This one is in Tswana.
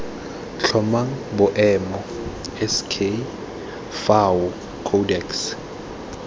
tlhomang boemo sk fao codex